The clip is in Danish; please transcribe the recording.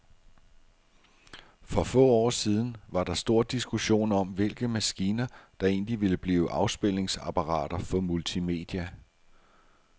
For få år siden var der stor diskussion om, hvilke maskiner, der egentlig ville blive afspilningsapparater for multimedia.